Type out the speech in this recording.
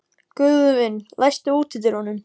Guðvin, læstu útidyrunum.